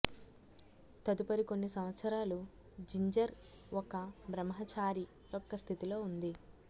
తదుపరి కొన్ని సంవత్సరాలు జింజర్ ఒక బ్రహ్మచారి యొక్క స్థితి లో ఉంది